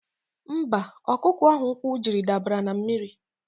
Mba, ọkụkọ ahụ ụkwụ jiri dabara na mmiri.